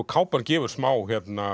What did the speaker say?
kápan gefur smá